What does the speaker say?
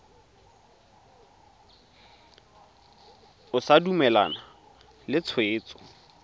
o sa dumalane le tshwetso